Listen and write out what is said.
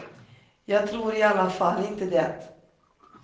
Jag tror i alla fall inte det.